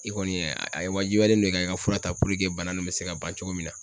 I kɔni ye a ye wajibiyalen don i kan i ka fura ta bana nun bɛ se ka ban cogo min na.